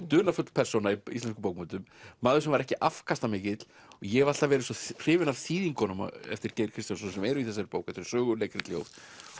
dularfull persóna í íslenskum bókmenntum maður sem var ekki afkastamikill ég hef alltaf verið svo hrifinn af þýðingum eftir Geir Kristjánsson sem eru í þessari bók þetta eru sögur leikrit ljóð